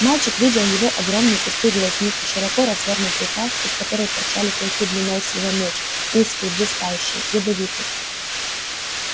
мальчик видел его огромные пустые глазницы широко развёрнутую пасть из которой торчали клыки длиной с его меч узкие блистающие ядовитые